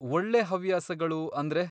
ಒಳ್ಳೆ ಹವ್ಯಾಸಗಳು ಅಂದ್ರೆ?